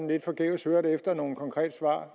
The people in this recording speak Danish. lidt forgæves nogle konkrete svar